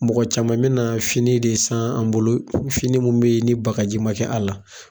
Mɔgɔ caman bɛna fini de san an bolo, fini minnu bɛ yen ni bagaji ma kɛ a la.